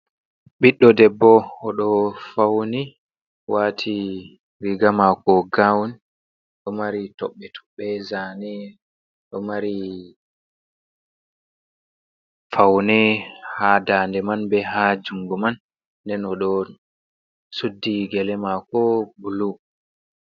Ɓiɗɗo debbo o ɗo fauni wati riga mako gaun, ɗo mari tobbe tobbe, zane ɗo mari faune haa daande man, be haa jungo man nden o ɗo suddi gele maako bulu.